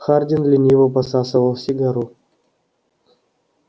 хардин лениво посасывал сигару